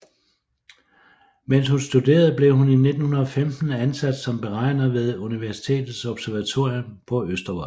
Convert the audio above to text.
Mens hun studerede blev hun i 1915 ansat som beregner ved universitetets observatorium på Østervold